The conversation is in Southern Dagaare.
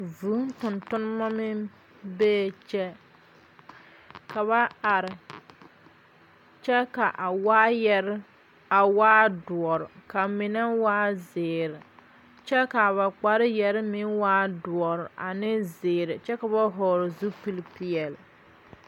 Vūū toŋtommɔ la are kyɛ ka poolo meŋ ba ka waayɛdɔre ane bon ziire be a pʋɔ.A ba kparesuure waala dɔre kyɛ ka a mine waa ziire kyɛ ka ba vɔgle zupilpeɛle